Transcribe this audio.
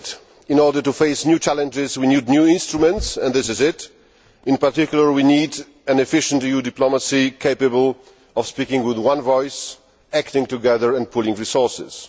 In order to face new challenges, we need new instruments, and this is such an instrument. In particular, we need an efficient EU diplomacy capable of speaking with one voice, acting together and pooling resources.